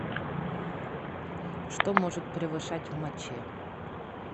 что может превышать в моче